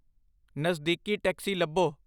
ਨਜ਼ਦੀਕੀ ਟੈਕਸੀ ਲੱਭੋ